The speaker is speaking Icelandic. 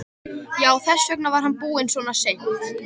Já, þess vegna var hann búinn svona seint.